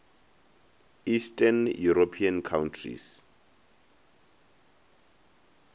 eastern european countries